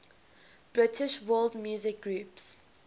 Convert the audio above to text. british world music groups